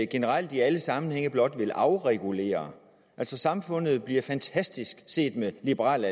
generelt i alle sammenhænge blot vil afregulere altså samfundet bliver fantastisk set med liberal